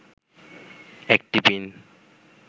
একটি পিন